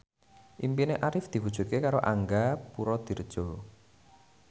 impine Arif diwujudke karo Angga Puradiredja